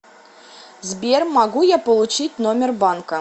сбер могу я получить номер банка